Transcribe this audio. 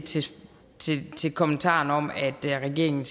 kommentaren om at regeringen